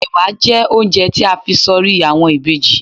Ẹ̀wà jẹ́ oúnjẹ tí a fi s'orí àwọn ìbejì.